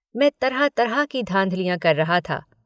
मैं तरह तरह की धाँधलियाँ कर रहा था।